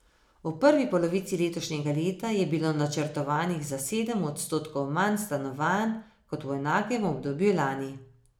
V prvi polovici letošnjega leta je bilo načrtovanih za sedem odstotkov manj stanovanj kot v enakem obdobju lani.